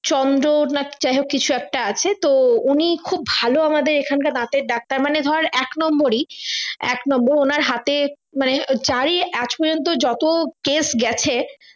চন্দর না কি যাইহোক কিছু একটা আছে তো উনি খুব ভালো আমাদের এখানকার দাঁতের ডাক্তার মানে ধর এক নম্বরি এক নম্বর উনার হাতে মানে যাই মানে আজ পর্যন্ত যত case গেছে